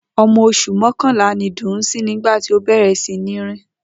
O̩mo̩ os̩ù mó̩kànlá ni Dùnńsín nígbà tí ó bè̩rè̩ sí ní rìn